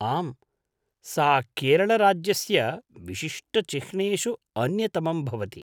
आम्, सा केरळराज्यस्य विशिष्टचिह्नेषु अन्यतमं भवति।